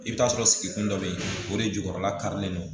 I bɛ t'a sɔrɔ sigikun dɔ bɛ yen o de jukɔrɔla karilen don